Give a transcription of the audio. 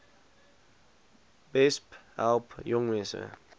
besp help jongmense